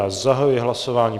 Já zahajuji hlasování.